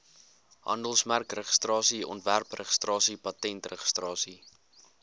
handelsmerkregistrasie ontwerpregistrasie patentregistrasie